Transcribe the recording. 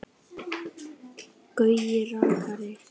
Gaui rakari.